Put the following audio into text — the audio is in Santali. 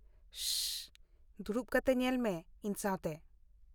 ᱥᱚᱥᱚᱥᱚ ! ᱫᱩᱲᱩᱯ ᱠᱟᱛᱮ ᱧᱮᱞᱢᱮ ᱤᱧ ᱥᱟᱶᱛᱮ ᱾